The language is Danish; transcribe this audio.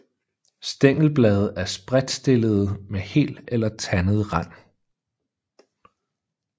Stængelblade er spredtstillede med hel eller tandet rand